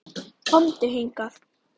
KOMDU HINGAÐ!